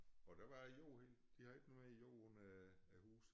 Og der var æ jord helt de havde ikke noget i æ jord af huse